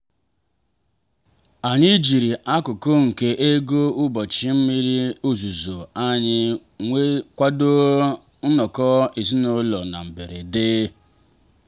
anyị jiri akụkụ nke ego ụbọchị mmiri ozuzo anyị kwado nnọkọ ezinụlọ na mberede.